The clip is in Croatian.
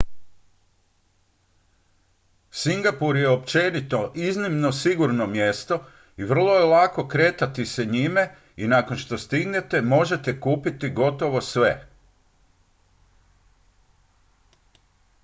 singapur je općenito iznimno sigurno mjesto i vrlo je lako kretati se njime i nakon što stignete možete kupiti gotovo sve